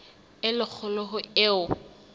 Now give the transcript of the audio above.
e le kgolo ho eo